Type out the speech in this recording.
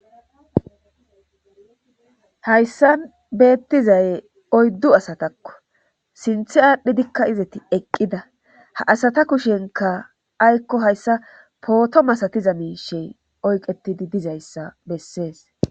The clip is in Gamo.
hayssan beettizaye oyddu asatakko sinthi aadhdhidikka izeti eqqida ha asata kushenka aykko hayssa pooto masatiza miishey oyqetidi dizayssa bessees